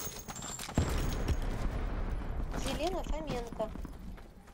елена фоменко